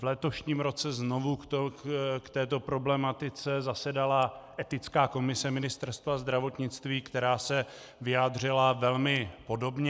V letošním roce znovu k této problematice zasedala etická komise Ministerstva zdravotnictví, která se vyjádřila velmi podobně.